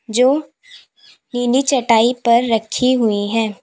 जो नीली चटाई पर रखी हुई हैं।